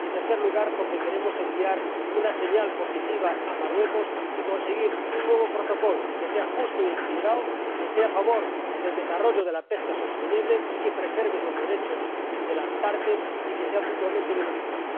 y, en tercer lugar, porque queremos enviar una señal positiva a Marruecos y conseguir un nuevo protocolo que sea justo y equilibrado, que esté a favor del desarrollo de la pesca sostenible, y que preserve los derechos de las partes y sea mutuamente beneficioso.